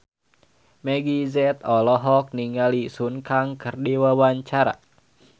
Meggie Z olohok ningali Sun Kang keur diwawancara